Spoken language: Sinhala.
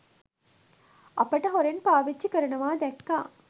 අපට හොරෙන් පාවිච්චි කරනවා දැක්කා.